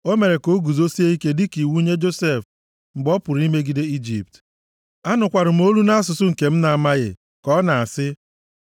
O mere ka o guzosie ike dịka iwu nye Josef mgbe ọ pụrụ imegide Ijipt. Anụkwara m olu nʼasụsụ nke m na-amaghị, ka ọ na-asị: